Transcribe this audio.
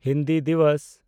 Hindi Diwas